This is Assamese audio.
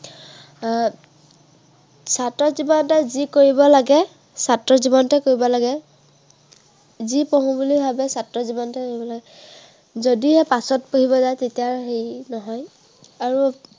আহ ছাত্ৰৰ জীৱনত যি কৰিব লাগে, ছাত্ৰ জীৱনতে কৰিব লাগে। যি পঢ়ো বুলি ভাৱে ছাত্ৰ জীৱনতে পঢ়িব লাগে। যদিহে পাছত পঢ়িবলে হয় তেতিয়া আৰু হেৰি নহয়।